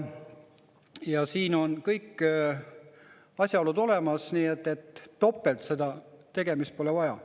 Ja siin on kõik asjaolud olemas, nii et topelt tegemist pole vaja.